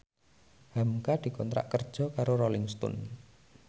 hamka dikontrak kerja karo Rolling Stone